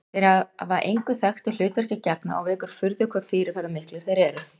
Þeir hafa engu þekktu hlutverki að gegna og vekur furðu hve fyrirferðarmiklir þeir eru.